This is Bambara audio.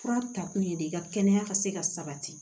Fura ta kun ye de i ka kɛnɛya ka se ka sabati